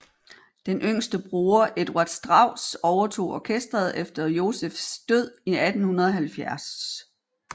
Den yngste bror Eduard Strauss overtog orkesteret efter Josephs død i 1870